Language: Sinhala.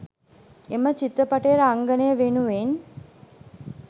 එම චිත්‍රපටයේ රංගනය වෙනුවෙන්